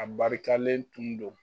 A barikalen tun don.